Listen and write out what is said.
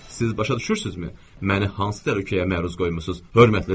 Siz başa düşürsünüzmü, məni hansı təhlükəyə məruz qoymusunuz, hörmətli cənab?